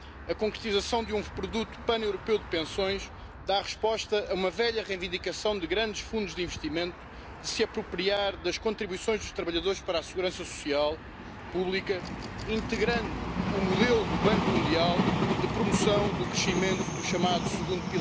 Deswegen begrüßen wir auch die Debatte wohl wissend, dass Rentenversicherungsrecht primär nationales Recht ist und unsere Kompetenzen begrenzt sind. Wir erkennen, dass in vielen Mitgliedstaaten die demografische Struktur schwierig ist.